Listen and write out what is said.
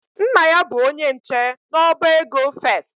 Nna ya bụ onye nche n'ọba ego First.